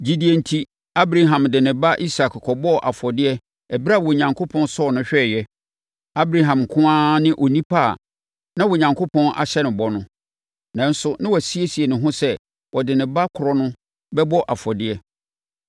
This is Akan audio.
Gyidie enti, Abraham de ne ba Isak kɔbɔɔ afɔdeɛ ɛberɛ a Onyankopɔn sɔɔ no hwɛeɛ. Abraham nko ara ne onipa a na Onyankopɔn ahyɛ no bɔ no, nanso na wasiesie ne ho sɛ, ɔde ne ba korɔ no bɛbɔ afɔdeɛ.